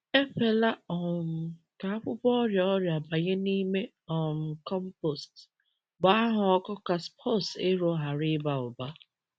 Ekwela um ka akwụkwọ ọrịa ọrịa banye n’ime um compost; gbaa ha ọkụ ka spores ero ghara ịba ụba.